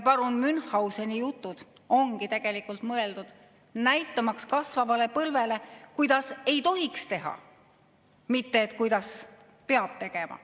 Parun Münchhauseni jutud ongi tegelikult mõeldud näitamaks kasvavale põlvele, kuidas ei tohiks teha, mitte et kuidas peab tegema.